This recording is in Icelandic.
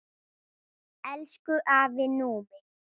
Elsku afi Númi.